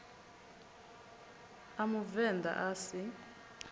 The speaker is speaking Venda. a muvend a a si